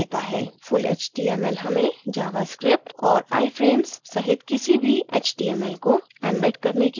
full html हमें javascript और iframes सहित किसी भी html को embed करने की अनुमति देता है